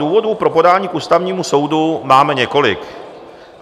Důvodů pro podání k Ústavnímu soudu máme několik.